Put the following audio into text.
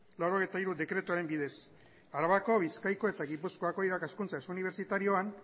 laurogeita hiru dekretuaren bidez arabako bizkaiko eta gipuzkoako irakaskuntza ez unibertsitarioan